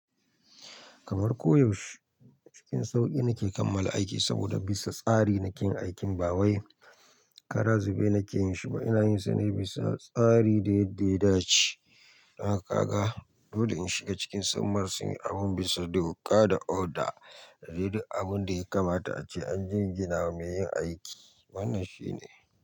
Kamar koyaushe cikin sauƙi nake kammala aiki saboda bisa tsari nake yin aikin bawain. Karazube nake yin shi ma ina yin sa ne bisa tsari da yadda ya dace. Nawa ka ga, dole shiga cikin samar sun yi abin bisa doka da oda, da dai duk abin da ya kamata ace an gingina mai yin aiki. Wannan shi ne.